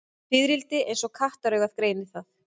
Fiðrildi eins og kattaraugað greinir það.